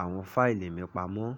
àwọn fáìlì mi pamọ́